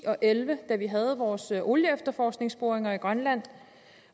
og elleve da vi havde vores olieefterforskningsboringer i grønland